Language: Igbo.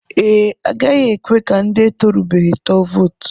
Ee, agaghị ekwe ka ndị etorubeghi tụọ vootu.